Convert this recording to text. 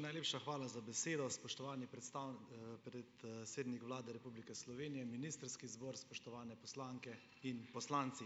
najlepša hvala za besedo. Spoštovani Vlade Republike Slovenije, ministrski zbor! Spoštovane poslanke in poslanci!